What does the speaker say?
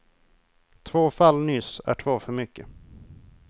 Två fall nyss är två för mycket.